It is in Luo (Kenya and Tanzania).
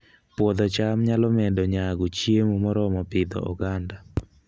Puodho cham nyalo medo nyago chiemo moromo Pidhoo oganda